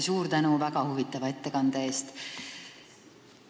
Suur tänu väga huvitava ettekande eest!